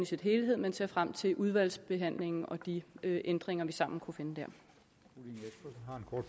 sin helhed men ser frem til udvalgsbehandlingen og de ændringer vi sammen kan